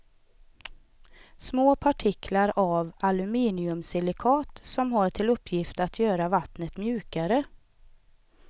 Små partiklar av aluminiumsilikat som har till uppgift att göra vattnet mjukare.